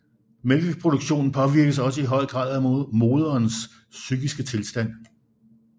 Mælkeproduktionen påvirkes også i høj grad af moderens psykiske tilstand